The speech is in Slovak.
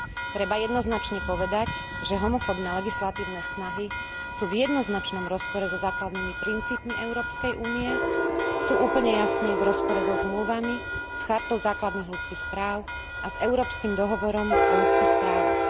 Treba jednoznačne povedať, že homofóbne legislatívne snahy sú v jednoznačnom rozpore so základnými princípmi Európskej únie, sú úplne jasne v rozpore so zmluvami, s Chartou základných ľudských práv a s Európskym dohovorom o ľudských právach.